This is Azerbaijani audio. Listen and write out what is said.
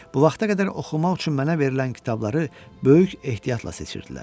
Bu vaxta qədər oxumaq üçün mənə verilən kitabları böyük ehtiyatla seçirdilər.